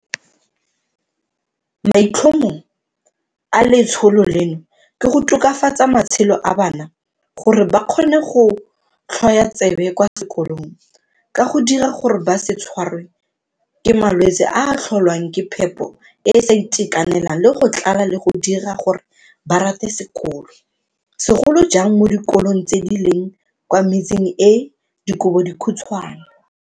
Maitlhomo a letsholo leno ke go tokafatsa matshelo a bana gore ba kgone go tlhwoyatsebe kwa sekolong, ka go dira gore ba se tshwarwe ke malwetse a a tlholwang ke phepo e e sa itekanelang le tlala le go dira gore ba rate sekolo, segolo jang mo dikolong tse di leng kwa metseng e e dikobodikhutshwane.